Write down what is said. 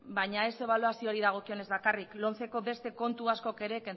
baina ez ebaluaziori dagokionez bakarrik lomceko beste kontu askok ere